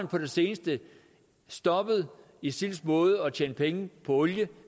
på det seneste stoppet isils måde at tjene penge på olie